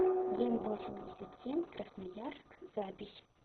генвосемьдесятсемь красноярск запись